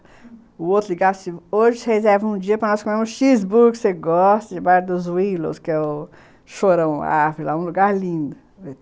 Hoje você reserva um dia para nós comermos um cheeseburger que você gosta, de bairro dos Willows, que é o Chorão Árvore, um lugar lindo.